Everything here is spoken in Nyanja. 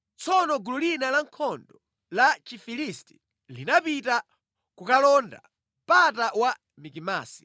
Tsono gulu lina lankhondo la Chifilisti linapita kukalonda mpata wa Mikimasi.